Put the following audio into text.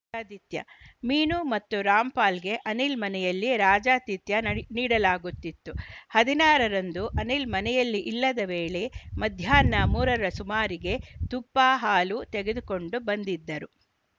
ರಾಜಾತಿಥ್ಯ ಮೀನು ಮತ್ತು ರಾಮ್‌ಪಾಲ್‌ಗೆ ಅನಿಲ್‌ ಮನೆಯಲ್ಲಿ ರಾಜಾತಿಥ್ಯ ನಡೆ ನೀಡಲಾಗುತ್ತಿತ್ತು ಹದ್ನನಾರ ರಂದು ಅನಿಲ್‌ ಮನೆಯಲ್ಲಿ ಇಲ್ಲದ್ದ ವೇಳೆ ಮಧ್ಯಾಹ್ನ ಮೂರರ ಸುಮಾರಿಗೆ ತುಪ್ಪ ಹಾಲು ತೆಗೆದುಕೊಂಡು ಬಂದಿದ್ದರು